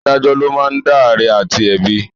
Adájọ ló máa ń dá àre àti ẹ̀bi